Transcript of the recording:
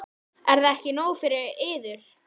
Er það ekki nóg fyrir yður?